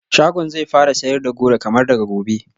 Shagon zai fara sayar da goro kamar daga gobe